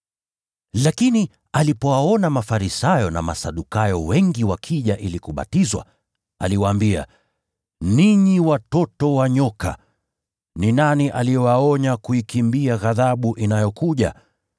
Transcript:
Lakini alipowaona Mafarisayo na Masadukayo wengi wakija ili kubatizwa, aliwaambia: “Ninyi watoto wa nyoka! Ni nani aliyewaonya kuikimbia ghadhabu inayokuja?